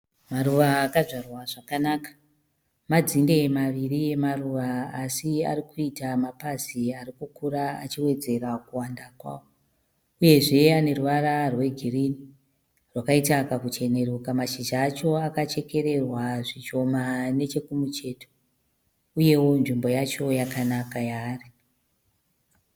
Maruva akadzvara zvakanaka. Madzine maviri eruva asi arikuita mapazi arikukura achiwedzera kuwanda kwavo uyezve ane ruvara regirinhi rwakaita kakucheneruka. Mashizha acho akachekererwa zvishoma nechekumucheto uyezve nzvimbo yacho yakanaka yaari